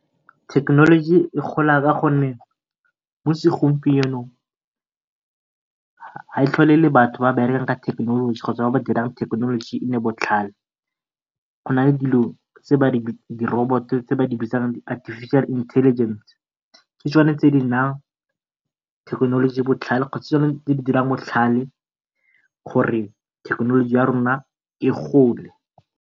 Thekenoloji e gola ka gonne mo segompienong ha e tlhole ele batho ba berekang ka thekenoloji kgotsa ba dirang gore thekenoloji e nne botlhale. Go nale dilo di roboto tse ba di bitsa Artificial Intelligence ke tsone tse nayang thekenoloji botlhale kgotsa di dirang thekenolji botlhale gore thekenoloji ya rona e gole.